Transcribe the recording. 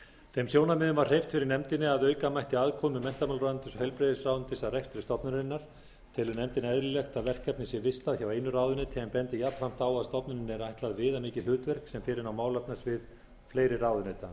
þeim sjónarmiðum var hreyft fyrir nefndinni að auka mætti aðkomu menntamálaráðuneytis og heilbrigðisráðuneytis að rekstri stofnunarinnar telur nefndin eðlilegt að verkefnið sé vistað hjá einu ráðuneyti en bendir jafnframt á að stofnuninni er ætlað viðamikið hlutverk sem fer inn á málefnasvið fleiri ráðuneyta